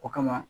O kama